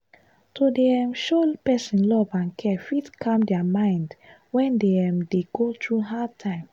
to dey um show person love and care fit calm their mind when dem um dey go through hard time.